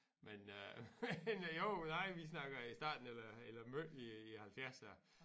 Men øh jo nej vi snakker i starten eller eller midt i i halvfjerdserne